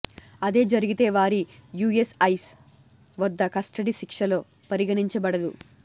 అదే జరిగితే వారి యూఎస్ ఐస్ వద్ద కస్టడీ శిక్షలో పరిగణించ బడదు